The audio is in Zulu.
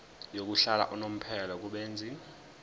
yokuhlala unomphela kubenzi